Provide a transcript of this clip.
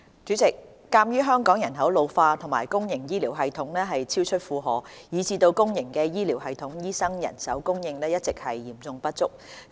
主席，鑒於香港人口老化和公營醫療系統超出負荷，以致公營醫療系統醫生人手供應一直嚴重不足。